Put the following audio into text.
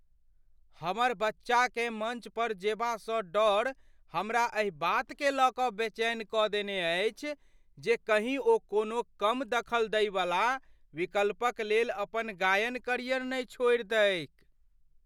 हमर बच्चाकेँ मञ्च पर जेबासँ डर हमरा एहि बातकेँ लय कऽ बेचैन कऽ देने अछि जे कहीँ ओ कोनो कम दखल दैवला विकल्पक लेल अपन गायन करियर नहि छोड़ि दैक।